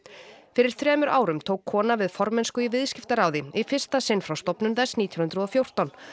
fyrir þremur árum tók kona við formennsku í Viðskiptaráði í fyrsta sinn frá stofnun þess nítján hundruð og fjórtán